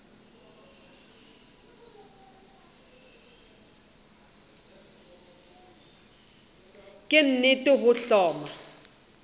ke nt re o hloma